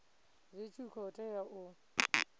zwi tshi khou tea u